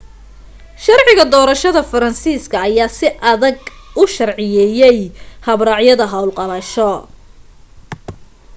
sharciga doorashada faransiiska ayaa si adag u u sharciyeeyay hab raacyada hawl qabasho